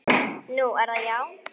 Nú, er það já.